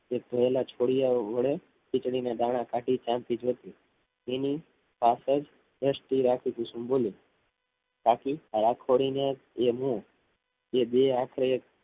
થયેલા છોડિયા વડે ખીચડી ના દાણાપહેલા છોડિયા કાઢી શાંતિથી જોતી હતી તેની પાછળ દૃષ્ટિ રાખી કુસુમ બોલી કાકી આ રાખોડી એનું એ બે આપડું